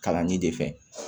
Kalanni de fɛ